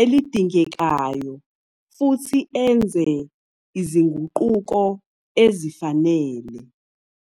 elidingekayo futhi enze izinguquko ezifanele.